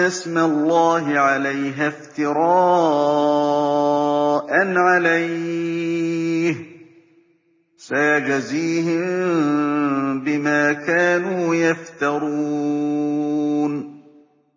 اسْمَ اللَّهِ عَلَيْهَا افْتِرَاءً عَلَيْهِ ۚ سَيَجْزِيهِم بِمَا كَانُوا يَفْتَرُونَ